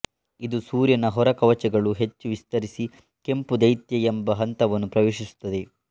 ಇದು ಸೂರ್ಯನ ಹೊರಕವಚಗಳು ಹೆಚ್ಚು ವಿಸ್ತರಿಸಿ ಕೆಂಪು ದೈತ್ಯ ಎಂಬ ಹಂತವನ್ನು ಪ್ರವೇಶಿಸುತ್ತದೆ